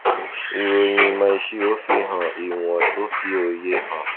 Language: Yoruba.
ìròyìn ìmò ìṣirò fihan ìwọn tó fi òye hàn